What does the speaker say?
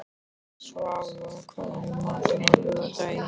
Svava, hvað er í matinn á laugardaginn?